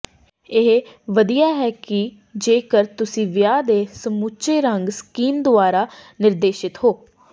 ਇਹ ਵਧੀਆ ਹੈ ਜੇਕਰ ਤੁਸੀਂ ਵਿਆਹ ਦੇ ਸਮੁੱਚੇ ਰੰਗ ਸਕੀਮ ਦੁਆਰਾ ਨਿਰਦੇਸ਼ਿਤ ਹੋ